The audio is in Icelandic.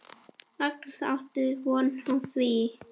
Magnús: Áttu von á því?